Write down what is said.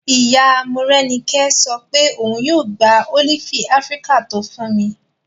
Ìyá Morẹ́nikẹ́ sọ pé òun yóò gba ólífì áfíríkà tó fún mi